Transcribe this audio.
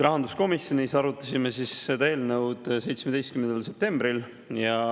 Rahanduskomisjonis arutasime seda eelnõu 17. septembril.